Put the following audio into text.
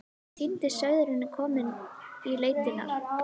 Fokið er í flest skjól.